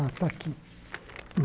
Ah está aqui.